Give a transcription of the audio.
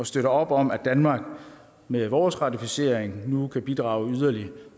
støtter op om at danmark med vores ratificering nu kan bidrage yderligere